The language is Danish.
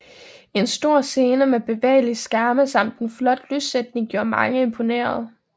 En stor scene med bevægelige skærme samt en flot lyssætning gjorde mange imponerede